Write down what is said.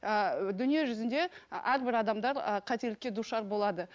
ііі дүние жүзінде әрбір адамдар і қателікке душар болады